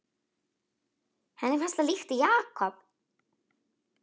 Henni fannst það líkt Jakob.